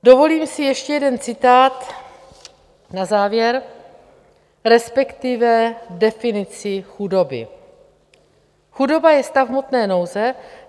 Dovolím si ještě jeden citát na závěr, respektive definici chudoby: "Chudoba je stav hmotné nouze.